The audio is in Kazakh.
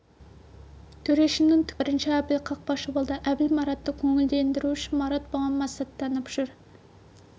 төрешінің түкке керегі жоқ бірінші әбіл қақпашы болды әбіл маратты көңілдендіру үшін марат бұған масаттанып жүр